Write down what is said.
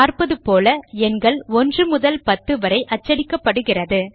பார்ப்பதுபோல எண்கள் 1 முதல் 10 வரை அச்சடிக்கப்படுகிறது